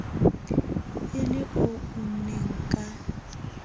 e le o unneng ka